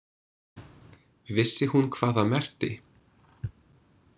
Vissi hún hvað það merkti?